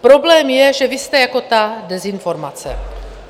Problém je, že vy jste jako ta dezinformace.